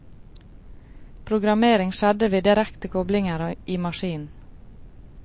Programmering skjedde ved direkte koblinger i maskinen.